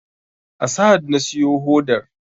A sahad na siyo hodar